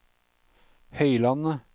Høylandet